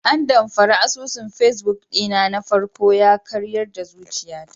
Andamfara asusun facebook ɗina na farko yakaryar da zuciyata.